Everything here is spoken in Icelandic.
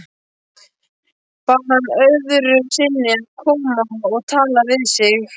Bað hann öðru sinni að koma og tala við sig.